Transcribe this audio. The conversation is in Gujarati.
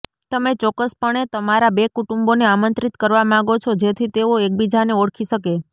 તમે ચોક્કસપણે તમારા બે કુટુંબોને આમંત્રિત કરવા માંગો છો જેથી તેઓ એકબીજાને ઓળખી શકે